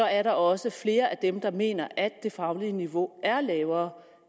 er der også flere af dem der mener at det faglige niveau er lavere